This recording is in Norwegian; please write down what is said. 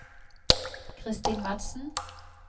Kristin Madsen